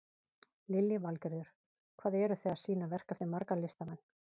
Lillý Valgerður: Hvað eru þið að sýna verk eftir marga listamenn?